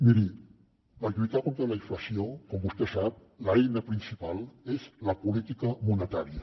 miri per lluitar contra la inflació com vostè sap l’eina principal és la política monetària